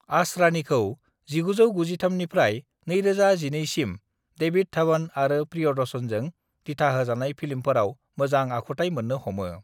आसरानीखौ 1993 निफ्राय 2012सिम डेविड धवन आरो प्रियदर्शनजों दिथाहोजानाय फिल्मफोराव मोजां आखुथाय मोन्नो हमो।